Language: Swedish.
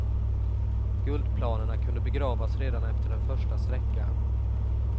Guldplanerna kunde begravas redan efter den första sträckan.